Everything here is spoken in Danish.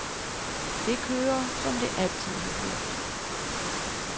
Det kører, som det altid har gjort.